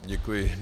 Děkuji.